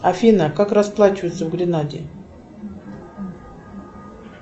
афина как расплачиваются в гренаде